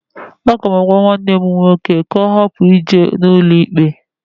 Aga m agwa nwanne m nwoke ka ọ hapụ ije n'ụlọikpe.